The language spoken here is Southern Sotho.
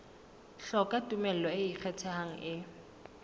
hloka tumello e ikgethang e